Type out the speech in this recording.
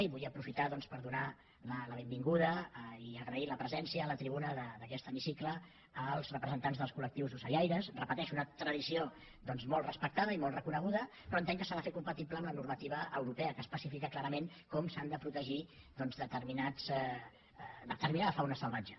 i vull aprofitar doncs per donar la benvinguda i agrair la presència a la tribuna d’aquest hemicicle als representants dels col·lectius ocellaires ho repeteixo una tradició molt respectada i molt reconeguda però entenc que s’ha de fer compatible amb la normativa europea que especifica clarament com s’ha de protegir determinada fauna salvatge